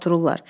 Otururlar.